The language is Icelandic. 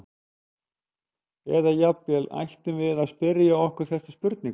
Eða jafnvel: Ættum við að spyrja okkur þessara spurninga?